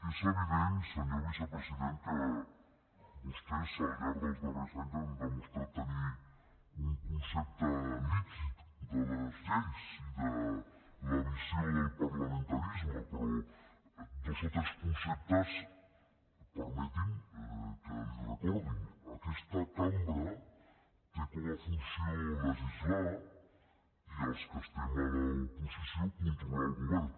és evident senyor vicepresident que vostès al llarg dels darrers anys han demostrat tenir un concepte líquid de les lleis i de la visió del parlamentarisme però dos o tres conceptes permeti’m que els hi recordi aquesta cambra té com a funció legislar i els que estem a l’oposició controlar el govern